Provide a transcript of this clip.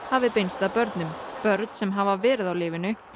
hafi beinst að börnum börn sem hafa verið á lyfinu